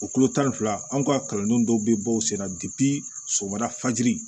O kulo tan ni fila an ka kalandenw dɔw bɛ bɔ u senna somada fajiri